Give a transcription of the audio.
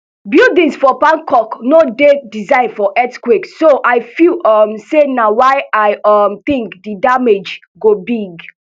buildings for bangkok no dey designed for earthquakes so i feel um say na why i um think di damage go big